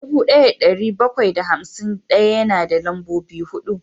dubu daya da dari bakwai da hamsin daya yana da lambobi hudu